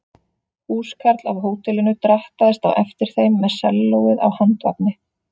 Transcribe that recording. Húskarl af hótelinu drattaðist á eftir þeim með sellóið á handvagni.